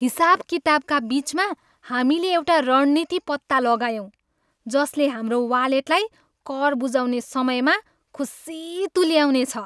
हिसाबकिताबका बिचमा, हामीले एउटा रणनीति पत्ता लगायौँ जसले हाम्रो वालेटलाई कर बुझाउने समयमा खुसी तुल्याउनेछ!